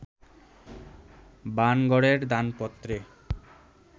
বাণগড়ের দানপত্রে